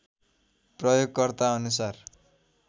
प्रयोगकर्ताअनुसार